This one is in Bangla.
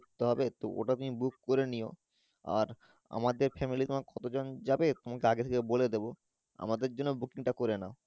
করতে হবে তো ওটা তুমি Book করে নিয়ো আর আমাদের Family তোমার কত জন যাবে তোমাকে আগে থাকে বলে দেব আমাদের জন্য Booking টা করে নাও।